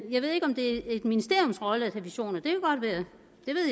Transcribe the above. jeg ved ikke om det er et ministeriums rolle at have visioner det